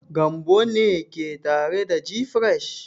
Gambo ne ke tare da gfresh.